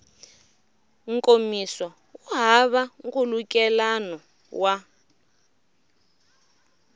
nkomiso wu hava nkhulukelano wa